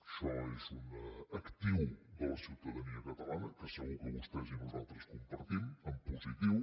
això és un actiu de la ciutadania catalana que segur que vostès i nosaltres compartim en positiu